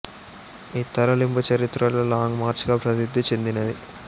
ఈ తరలింపు చరిత్రలో లాంగ్ మార్చ్ గా ప్రసిద్ధి చెందినది